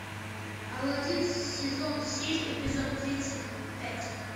алладин сезон семь эпизод тридцать пять